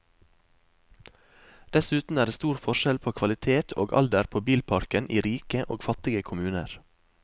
Dessuten er det stor forskjell på kvalitet og alder på bilparken i rike og fattige kommuner.